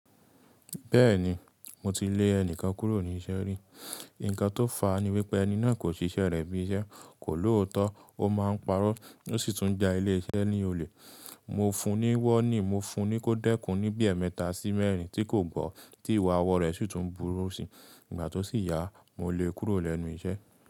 Bẹ́ẹ̀ni, mo ti lè ẹnìkan kúrò ní iṣẹ́ rí. Ǹkan tó fà á ni wípé ẹni náà kò ṣiṣẹ́ rẹ̀ bí iṣẹ́, kò lóòótọ́, ó máa ń parọ́, ó sì tún ja ilé iṣẹ́ ní olè. Mo fun ní warning, mo fun ní kó dẹ́kun ní bíi ẹemẹ́ta sí mẹ́erin tí kò gbọ́, tí ìwà ọwọ́ rẹ̀ sì tún burú síi. Ìgbà tó sì yá, mo lé kúrò lẹ́nu iṣẹ́.